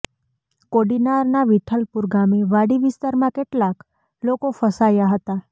કોડીનારના વિઠ્ઠલપુર ગામે વાડી વિસ્તારમાં કેટલાંક લોકો ફસાયા હતા